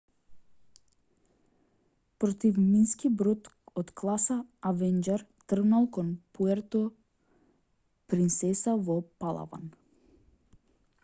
противмински брод од класа авенџер тргнал кон пуерто принсеса во палаван